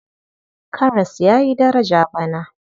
Karas ya yi daraja bana.